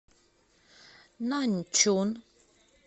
наньчун